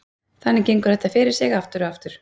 Þannig gengur þetta fyrir sig aftur og aftur.